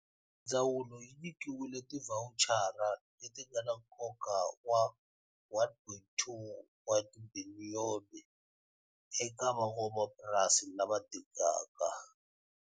Ndzawulo yi nyikiwile tivhawuchara leti nga na nkoka wa R1.2 wa tibiliyoni eka van'wamapurasi lava dingaka.